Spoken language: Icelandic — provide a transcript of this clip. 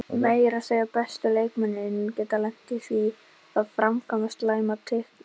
Meira að segja bestu leikmennirnir geta lent í því að framkvæma slæma tæklingu.